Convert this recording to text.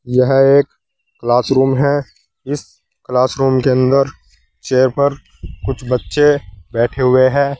यह एक class room है इस क्लासरूम के अंदर चेयर पर कुछ बच्चे बैठे हुए हैं।